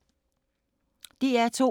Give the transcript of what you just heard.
DR2